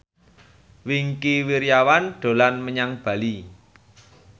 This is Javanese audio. Wingky Wiryawan dolan menyang Bali